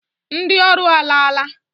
Ndị ọrụ alaala.